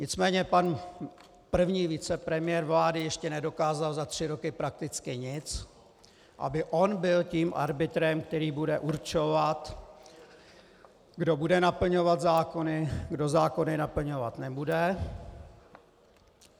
Nicméně pan první vicepremiér vlády ještě nedokázal za tři roky prakticky nic, aby on byl tím arbitrem, který bude určovat, kdo bude naplňovat zákony, kdo zákony naplňovat nebude.